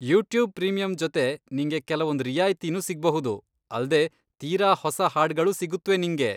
YouTube Premium ಜೊತೆ ನಿಂಗೆ ಕೆಲವೊಂದ್ ರಿಯಾಯ್ತಿನೂ ಸಿಗ್ಬಹುದು, ಅಲ್ದೇ ತೀರಾ ಹೊಸ ಹಾಡ್ಗಳೂ ಸಿಗುತ್ವೆ ನಿಂಗೆ.